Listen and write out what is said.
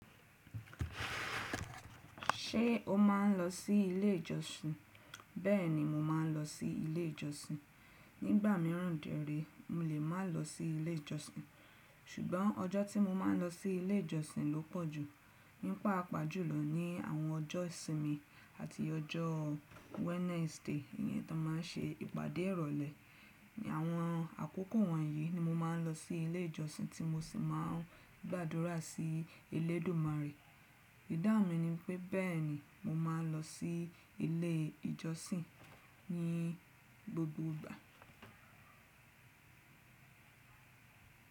Ṣé o máa ń lọ sí ilé ìjọsìn? Bẹ́ẹ̀ni, mo máa ń lọ sí ilé ìjọsìn. Nígbà míràn dèré, mo lè má lọ sí ilé ìjọsìn. Ṣùgbọ́n ọjọ́ tí mo máa ń lọ sí ilé ìjọsìn ló pọ̀ jù. Ní paapaa jùlọ ní àwọn ọjọ́ ìsinmi àti ọjọ́ Wednesday iyẹn ton máa ń ṣe ìpàdé ìrọ̀lẹ́. Àwọn àkókò wọ̀nyí ni mo máa ń lọ sí ilé ìjọsìn tí mo sì máa ń gbàdúrà sí Elédùmarè. Ìdáhùn mi ni pé, bẹ́ẹ̀ni mo máa n lọ sí ilé ìjọsìn ní gbogbo ìgbà.